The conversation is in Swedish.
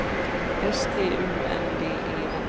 S T U N D E N